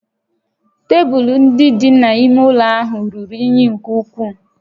Tebụl ndị dị n'ime ụlọ ahụ ruru unyi nke ukwuu